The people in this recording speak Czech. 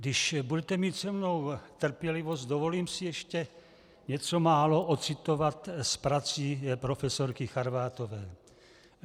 Když budete mít se mnou trpělivost, dovolím si ještě něco málo ocitovat z prací profesorky Charvátové.